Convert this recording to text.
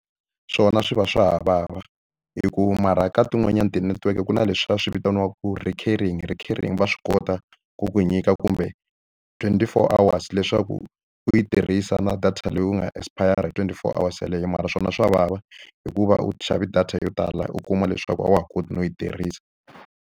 Swona swi va swa ha vava, hi ku mara ka tin'wanyani ti-network ku na leswiya va swi vitaniwaku recurring. Recurring va swi kota ku ku nyika kumbe twenty-four hours leswaku u yi tirhisa na data leyi u nga ha expire-a hi twenty-four hours yeleyo. Mara swona swa vava, hikuva u xave data yo tala u kuma leswaku a wa ha koti no yi tirhisa.